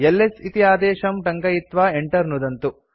LS इति आदेशं टङ्कयित्वा enter नुदन्तु